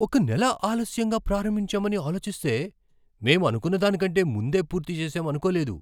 ఒక నెల ఆలస్యంగా ప్రారంభించామని ఆలోచిస్తే, మేం అనుకున్నదాని కంటే ముందే పూర్తి చేస్తాం అనుకోలేదు.